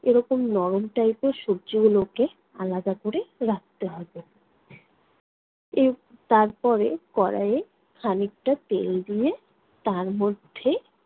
এরকম নরম type এর সবজিগুলোকে আলাদা করে রাখতে হবে। এর তারপরে কড়াইয়ে খানিকটা তেল দিয়ে তার মধ্যে